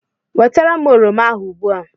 Wetara m oroma ahụ ugbu a!